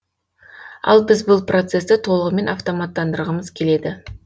ал біз бұл процесті толығымен автоматтандырғымыз келеді